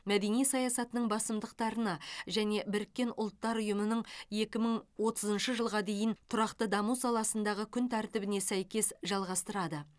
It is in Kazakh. мәдени саясатының басымдықтарына және біріккен ұлттар ұйымының екі мың отызыншы жылға дейін тұрақты даму саласындағы күн тәртібіне сәйкес жалғастырады